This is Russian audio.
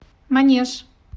манеж